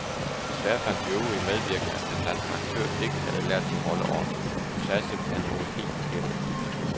Desværre fandt de øvrige medvirkende, at den danske aktør ikke havde lært sin rolle ordentligt, hun sagde simpelthen nogle helt forkerte replikker.